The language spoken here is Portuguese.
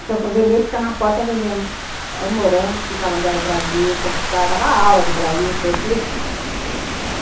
Então o fazendeiro fica na porta vendendo morango, explicava onde era o Brasil, conversava, dava aula de Brasil em francês